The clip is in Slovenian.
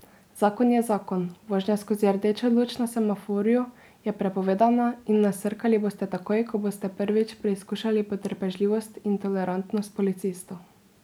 Zakon je zakon, vožnja skozi rdečo luč na semaforju je prepovedana in nasrkali boste takoj, ko boste prvič preizkušali potrpežljivost in tolerantnost policistov.